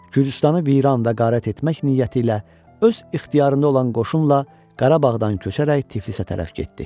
Gürcüstanı viran və qarat etmək niyyəti ilə öz ixtiyarında olan qoşunla Qarabağdan köçərək Tiflisə tərəf getdi.